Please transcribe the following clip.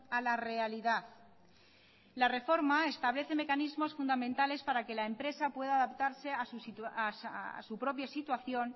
a la realidad la reforma establece mecanismos fundamentales para que la empresa pueda adaptarse a su propia situación